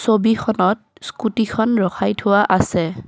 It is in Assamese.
ছবিখনত স্কুটীখন ৰখাই থোৱা আছে।